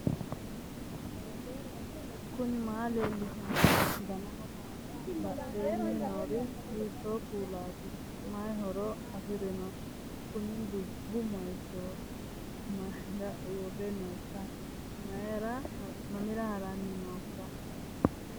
knuni maa leellishanno ? danano maati ? badheenni noori hiitto kuulaati ? mayi horo afirino ? kuni dubbu moychooti mayra uurre nooikka mamira haranni nooikka